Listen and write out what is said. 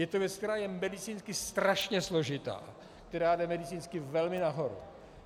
Je to věc, která je medicínsky strašně složitá, která jde medicínsky velmi nahoru.